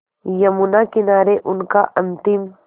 यमुना किनारे उनका अंतिम